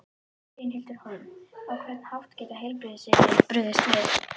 Brynhildur Hólm: Á hvern hátt geta heilbrigðisyfirvöld brugðist við?